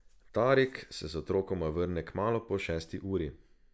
Tarik se z otrokoma vrne kmalu po šesti uri.